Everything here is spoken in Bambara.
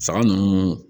Saga ninnu